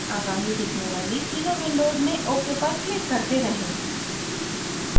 आगामी दिखने वाली तीनों विंडोज़ में ok पर क्लिक करते रहें